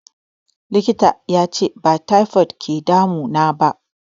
Likita yace ba taifod ke damu naba